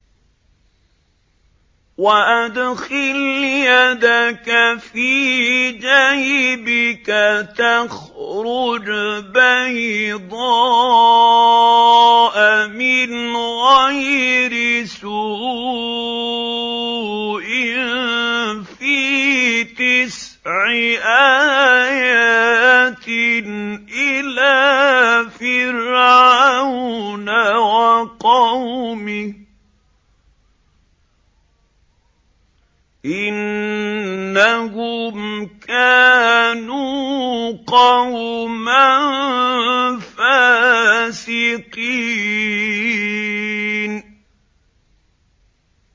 وَأَدْخِلْ يَدَكَ فِي جَيْبِكَ تَخْرُجْ بَيْضَاءَ مِنْ غَيْرِ سُوءٍ ۖ فِي تِسْعِ آيَاتٍ إِلَىٰ فِرْعَوْنَ وَقَوْمِهِ ۚ إِنَّهُمْ كَانُوا قَوْمًا فَاسِقِينَ